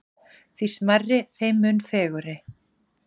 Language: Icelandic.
Því smærri þeim mun fegurri.